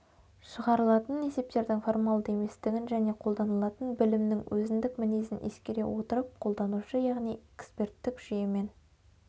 шығарылатын есептердің формалды еместігін және қолданылатын білімнің өзіндік мінезін ескере отырып қолданушы яғни эксперттік жүйемен